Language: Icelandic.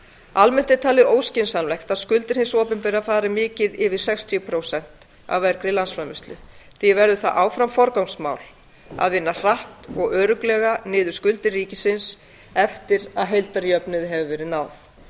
almennt er talið óskynsamlegt að skuldir hins opinbera fari mikið yfir sextíu prósent af vergri landsframleiðslu því verður það áfram forgangsmál að vinna hratt og örugglega niður skuldir ríkisins eftir að heildarjöfnuði hefur verið náð